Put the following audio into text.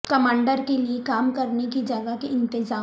commander کے لیے کام کرنے کی جگہ کے انتظام